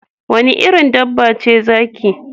Wanne irin dabba ce zaki?